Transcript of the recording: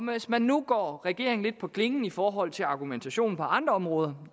hvis man nu går regeringen lidt på klingen i forhold til argumentationen på andre områder